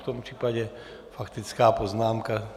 V tom případě faktická poznámka.